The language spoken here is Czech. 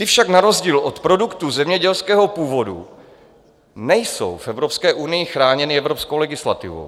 Ty však na rozdíl od produktů zemědělského původu nejsou v Evropské unii chráněny evropskou legislativou.